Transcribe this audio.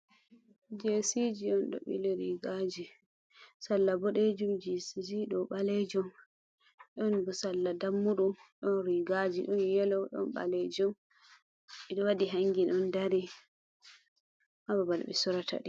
Jesiji on do bili rigaji salla bodejum, je ɗo ɓalejom ɗon salla dammudu don rigaji don yelo ɗon ɓalejom ɓedo wadi hangin on dari ha babal ɓe surataɗe